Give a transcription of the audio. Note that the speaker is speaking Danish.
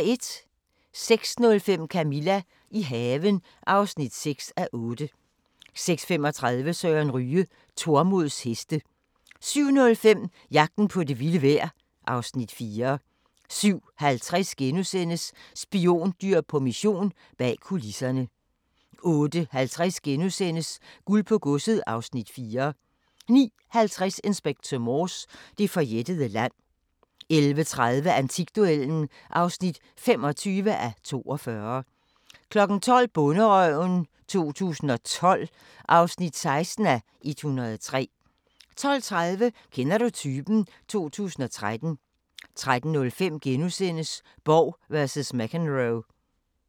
06:05: Camilla – i haven (6:8) 06:35: Søren Ryge: Tormods heste 07:05: Jagten på det vilde vejr (Afs. 4) 07:50: Spiondyr på mission – bag kulisserne * 08:50: Guld på godset (Afs. 4)* 09:50: Inspector Morse: Det forjættede land 11:30: Antikduellen (25:42) 12:00: Bonderøven 2012 (16:103) 12:30: Kender du typen? 2013 13:05: Borg vs McEnroe *